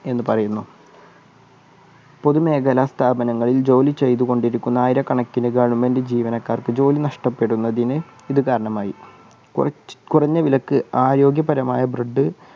എന്നു പറയുന്നു. പൊതു മേഖല സ്ഥാപനങ്ങൾ ജോലി ചെയ്തുകൊണ്ടിരിക്കുന്ന ആയിരക്കണക്കിൻ government ജീവനക്കാർക്ക് ജോലി നഷ്ടപ്പെടുന്നതിന് ഇതു കാരണമായി കുറഞ്ഞവിലക്ക് ആരോഗ്യപരമായ bread എന്ന് പറയുന്നു.